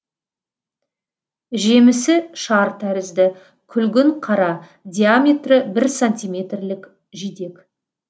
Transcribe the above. жемісі шар тәрізді күлгін қара диаметрі бір сантиметрлік жидек